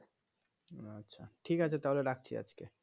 আচ্ছা ঠিক আছে তাহলে রাখছি আজকে